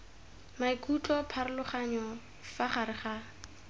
maikutlo pharologanyo fa gare ga